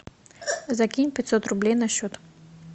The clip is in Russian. закинь пятьсот рублей на счет